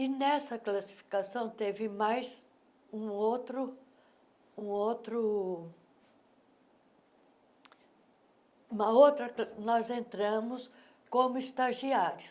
E nessa classificação teve mais um outro um outro... Uma outra ca... Nós entramos como estagiários.